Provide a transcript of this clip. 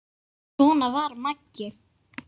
Svona var Maggi.